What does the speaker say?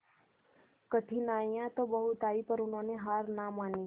कठिनाइयां तो बहुत आई पर उन्होंने हार ना मानी